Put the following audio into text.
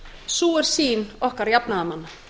sú er sýn okkar jafnaðarmanna